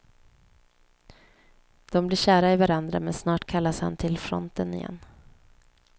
De blir kära i varandra men snart kallas han till fronten igen.